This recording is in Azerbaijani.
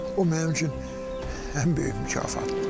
O mənim üçün ən böyük mükafatdır.